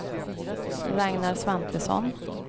Ragnar Svantesson